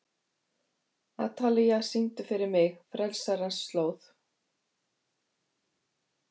Atalía, syngdu fyrir mig „Frelsarans slóð“.